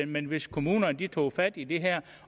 men hvis kommunerne tog fat i det her